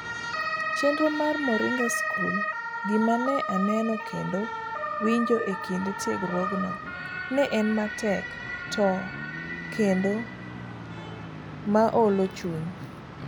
Chenro mar Moringa School . Gima ne aneno kendo winjo ekinde tiegruogno, ne en matek ta to kendo maolo chuny